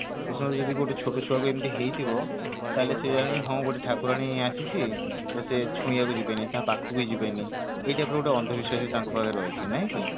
ସେ ସମୟରେ ଯଦି ଗୋଟେ ଛୋଟ ଛୁଆକୁ ଏମିତି ହେଇଥିବ ତାହାଲେ ସେ ଜାଣିବେ ହଁ ଗୋଟେ ଠାକୁରାଣୀ ଆସିଛି ତ ସେ ଛୁଇଁବାକୁ ଯିବେନି ତା ପାଖକୁ ବି ଯିବେନି ଏଇ type ର ଗୋଟେ ଅନ୍ଧବିଶ୍ଵାସ ବି ତାଙ୍କ ପାଖରେ ରହିଛି ନାଇକି